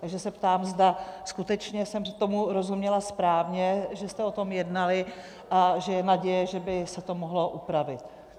Takže se ptám, zda skutečně jsem tomu rozuměla správně, že jste o tom jednali a že je naděje, že by se to mohlo upravit.